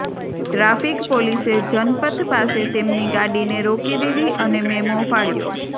traffic પોલીસે જનપથ પાસે તેમની ગાડીને રોકી દીધી અને મેમો ફાડ્યો